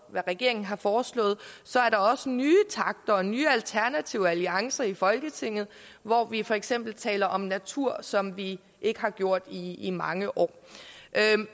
regeringen har foreslået og så er der også nye takter og nye alternative alliancer i folketinget hvor vi for eksempel taler om natur som vi ikke har gjort i i mange år